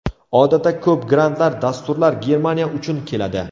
Odatda ko‘p grantlar, dasturlar Germaniya uchun keladi.